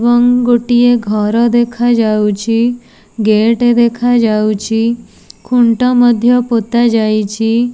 ଏବଂ ଗୋଟିଏ ଘର ଦେଖାଯାଉଛି ଗେଟ୍ ଦେଖାଯାଉଛି ଖୁଣ୍ଟ ମଧ୍ୟ ପୋତା ଯାଇଛି।